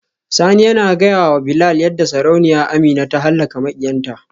Sani yana gaya wa Bilal yadda Sarauniya Amina ta halaka makiyanta.